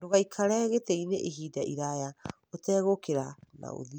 Ndũgaikare gĩtĩ-inĩ ihinda iraya ũtegũũkĩra na ũthiĩ.